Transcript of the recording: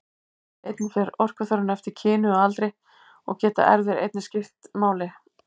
Einnig fer orkuþörfin eftir kyni og aldri og geta erfðir einnig skipt máli.